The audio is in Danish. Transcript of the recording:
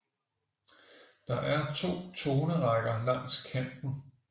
Der er to tonerækker langs kanten